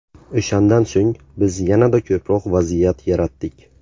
O‘shandan so‘ng biz yanada ko‘proq vaziyat yaratdik.